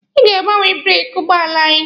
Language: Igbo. Ọ ga-agbanwe breeki ụgbọala anyị.